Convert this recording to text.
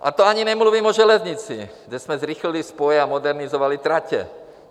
A to ani nemluvím o železnici, kde jsme zrychlili spoje a modernizovali tratě.